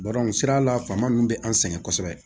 sira la faama nunnu be an sɛgɛn kosɛbɛ